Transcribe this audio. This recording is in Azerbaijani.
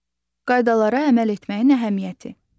Qaydalara əməl etməyin əhəmiyyəti.